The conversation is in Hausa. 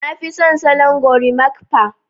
Nafi son salon gorimakpa